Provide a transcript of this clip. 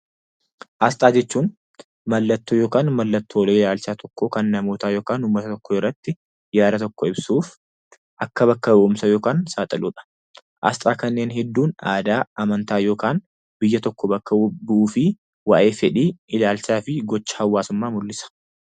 Asxaa jechuun mallattoo yookaan mallattoo ilaalcha namootaa tokkoo yookaan kan namoota, uummata tokkoo irratti yaada tokko ibsuuf akka bakka bu'umsa yookaan saaxiludha. Asxaa kanneen hedduun aadaa, amantaa yookaan biyya tokko bakka bu'uufii waa'ee fedhii, ilaalcha fi gocha hawaasummaa mul'isa.